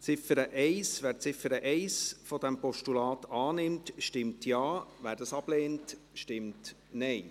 Wer die Ziffer 1 dieses Postulats annimmt, stimmt Ja, wer dies ablehnt, stimmt Nein.